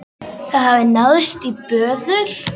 Það hafði náðst í böðul.